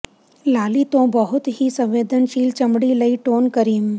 ਲਾਲੀ ਤੋਂ ਬਹੁਤ ਹੀ ਸੰਵੇਦਨਸ਼ੀਲ ਚਮੜੀ ਲਈ ਟੋਨ ਕਰੀਮ